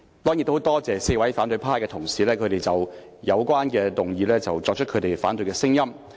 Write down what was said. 當然，我也很多謝4位反對派同事就有關議案表達反對聲音。